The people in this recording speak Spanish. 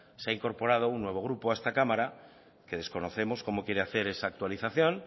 se ha incorporado un nuevo grupo a esta cámara que desconocemos como quiere hacer esa actualización